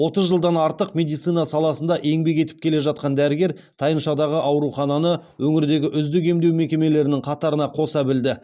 отыз жылдан артық медицина саласында еңбек етіп келе жатқан дәрігер тайыншадағы аурухананы өңірдегі үздік емдеу мекемелерінің қатарына қоса білді